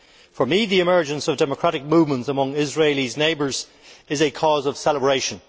For me, the emergence of democratic movements among Israel's neighbours is a cause of celebration.